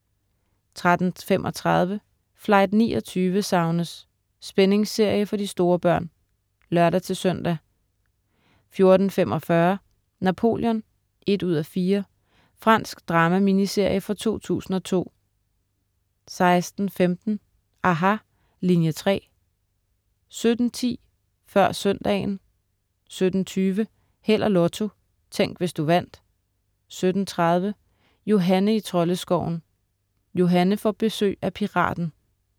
13.35 Flight 29 savnes! Spændingsserie for de store børn (lør-søn) 14.45 Napoleon 1:4. Fransk drama-miniserie fra 2002 16.15 aHA!, Linie 3* 17.10 Før søndagen 17.20 Held og Lotto. Tænk, hvis du vandt 17.30 Johanne i Troldeskoven. Johanne får besøg af Piraten